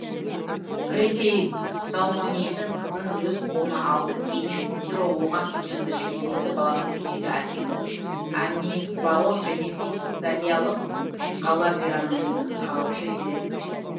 кретей салмонейдің қызын өз қолына алды кейіннен тиро оған үйленді және екі баланы дүниеге әкелді амифаон және фессалиялық қала фераның негізін қалаушы ферет